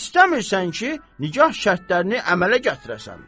İstəmirsən ki, nikah şərtlərini əmələ gətirəsən.